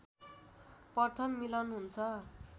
प्रथम मिलन हुन्छ